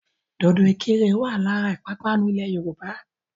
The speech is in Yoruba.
Dòdò ìkirè wà lára ìpapánu ilẹ̀ Yorùbá.